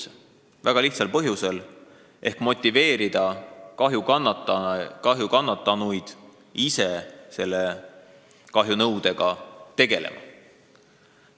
Seda väga lihtsal põhjusel: et motiveerida kahjukannatanuid ise kahjunõudega tegelema.